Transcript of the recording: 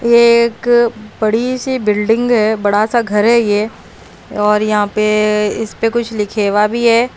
यह एक बड़ी सी बिल्डिंग है बड़ा सा घर है यह और यहाँ पे इस पे कुछ लिखे हुआ भी है।